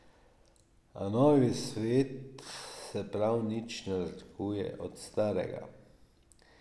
A novi svet se prav nič ne razlikuje od starega.